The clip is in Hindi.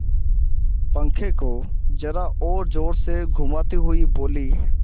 पंखे को जरा और जोर से घुमाती हुई बोली